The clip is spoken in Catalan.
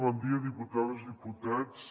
bon dia diputades i diputats